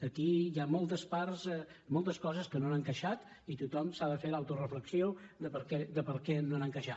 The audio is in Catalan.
aquí hi ha moltes parts moltes coses que no han encaixat i tothom s’ha de fer l’autoreflexió de per què no han encaixat